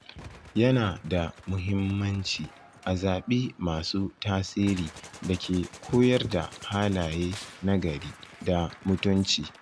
Yana da muhimmanci a zaɓi masu tasiri da ke koyar da halaye nagari da mutunci.